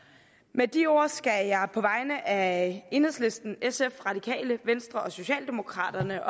med de ord skal jeg på vegne af enhedslisten sf radikale venstre og socialdemokraterne